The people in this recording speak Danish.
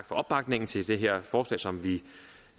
for opbakningen til det her forslag som vi